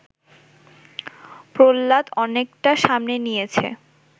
প্রহ্লাদ অনেকটা সামনে নিয়েছে